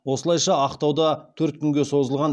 осылайша ақтауда төрт күнге созылған